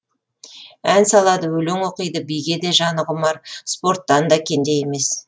ән салады өлең оқиды биге де жаны құмар спорттан да кенде емес